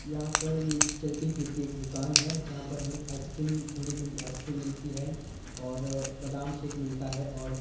यहां पर ए चलती फिरती एक दुकान है जहां पर हमें आइसक्रीम ठंडी ठंडी आइसक्रीम मिलती है और बादाम शेक मिलता है और--